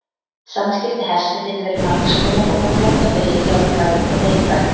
Samskipti hesta geta verið margs konar og má flokka þau í jákvæð og neikvæð.